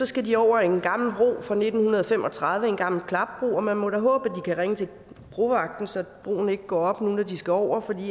skal de over en gammel bro fra nitten fem og tredive en gammel klapbro og man må da håbe at de kan ringe til brovagten så broen ikke går op når de skal over for